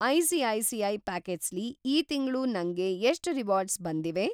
ICICI. Pockets ಲಿ ಈ ತಿಂಗ್ಳು ನಂಗೆ ಎಷ್ಟ್‌ ರಿವಾರ್ಡ್ಸ್‌ ಬಂದಿವೆ?